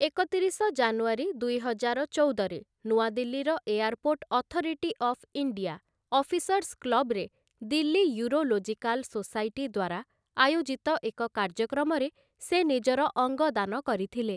ଏକତିରିଶ ଜାନୁଆରୀ, ଦୁଇହଜାର ଚଉଦରେ ନୂଆଦିଲ୍ଲୀର airport authority of India, officers କ୍ଲବରେ ଦିଲ୍ଲୀ ୟୁରୋଲୋଜିକାଲ ସୋସାଇଟି ଦ୍ୱାରା ଆୟୋଜିତ ଏକ କାର୍ଯ୍ୟକ୍ରମରେ ସେ ନିଜର ଅଙ୍ଗ ଦାନ କରିଥିଲେ ।